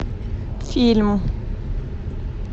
фильм